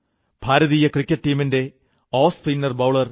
ഭാരതീയ cricket ടീമിന്റെ off spinner bowler R